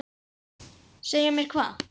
Segja mér hvað?